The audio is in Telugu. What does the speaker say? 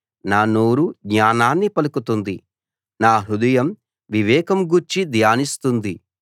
నా నోరు జ్ఞానాన్ని పలుకుతుంది నా హృదయం వివేకం గూర్చి ధ్యానిస్తుంది